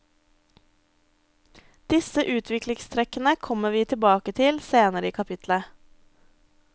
Disse utviklingstrekkene kommer vi tilbake til senere i kapitlet.